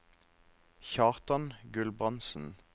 Kjartan Gulbrandsen